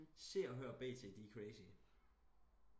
se og hør og bt de er crazy